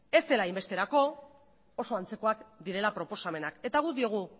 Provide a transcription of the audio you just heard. ez dela hainbesterako oso antzekoak direla proposamenak eta guk diogu